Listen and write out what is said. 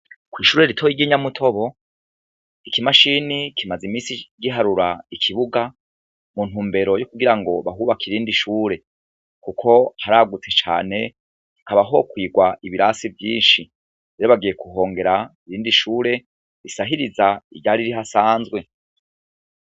Kwishure ritoyi ry' inyamutobo ikimashini kimaze imisi giharura ikibuga mu ntumbero yo kugira ngo bahubake irindi shure kuko haragutse cane hakaba hokwigwa ibirasi vyinshi rero bagiye kuhongera irindi shure risahiriza iryari rihasanzwe.